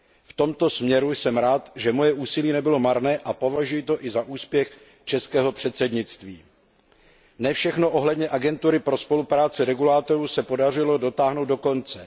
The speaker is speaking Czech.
V tomto směru jsem rád, že moje úsilí nebylo marné, a považuji to i za úspěch českého předsednictví. Ne všechno ohledně Agentury pro spolupráci regulátorů se podařilo dotáhnout do konce.